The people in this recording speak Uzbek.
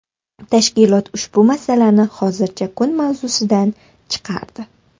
Tashkilot ushbu masalani hozircha kun mavzusidan chiqardi.